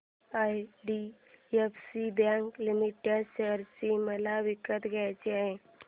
IDFC bank limited share मला विकत घ्यायचे आहेत